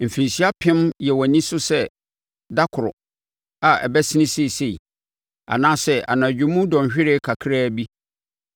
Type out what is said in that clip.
Mfirinhyia apem yɛ wʼani so sɛ da koro a abɛsene seesei, anaasɛ anadwo mu dɔnhwereɛ kakraa bi.